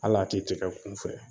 Hal'a ti tigɛ kunfɛ